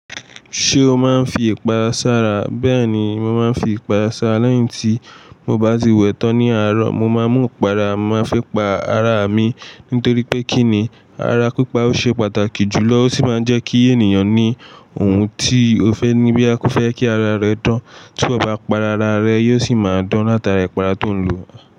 Ṣé o máa ń fi ìpara ṣára? Bẹ́ẹ̀ni, mo máa ń fi ìpara ṣára lẹ́yìn tí mo bá ti wẹ́tọ̀ ní àárọ̀. Mo máa ń mú ìpara, màá fi pa ara mi nítorí pé kí ni ara pípa ó ṣe pàtàkì jùlọ ó sì máa ń jẹ́ kí ènìyàn ní ohun tí ó fẹ́ ní bí a kò fẹ́ kí ara rẹ̀ dán. Tí iwò bá para, ara rẹ, yóò sì máa dán látara ìpara tó ń lò.